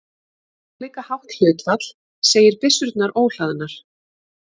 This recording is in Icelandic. Álíka hátt hlutfall segir byssurnar óhlaðnar.